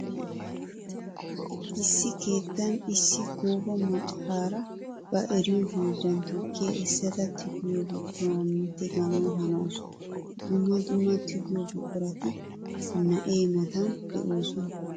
Issi keettan issi gooba macara ba eriyo hiillan tukkiya essadda tigiyo buquranni tiggana hanawussu. Dumma dumma tigiyo buquratti na'ee matan de'osonna.